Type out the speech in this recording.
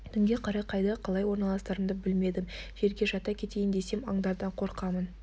түнге қарай қайда қалай орналасарымды білмедім жерге жата кетейін десем аңдардан қорқамын